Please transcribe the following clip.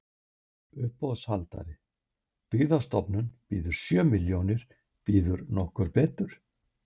Uppboðshaldari: Byggðastofnun býður sjö milljónir, býður nokkur betur?